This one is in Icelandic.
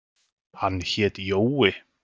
Hann hét Jói.